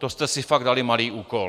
To jste si fakt dali malý úkol.